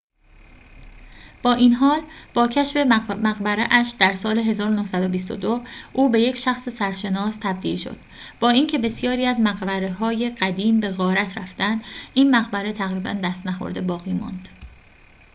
با این حال با کشف مقبره‌اش در سال ۱۹۲۲ او به یک شخص سرشناس تبدیل شد با اینکه بسیاری از مقبره‌های قدیم به غارت رفتند این مقبره تقریباً دست‌نخورده باقی ماند